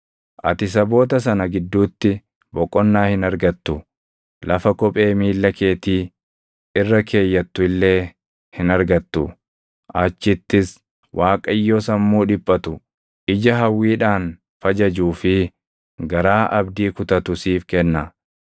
Ati saboota sana gidduutti boqonnaa hin argattu; lafa kophee miilla keetii irra keeyyattu illee hin argattu. Achittis Waaqayyo sammuu dhiphatu, ija hawwiidhaan fajajuu fi garaa abdii kutatu siif kenna.